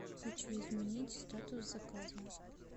хочу изменить статус заказа